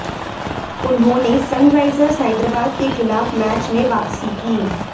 उन्होंने सनराइजर्स हैदराबाद के खिलाफ मैच में वापसी की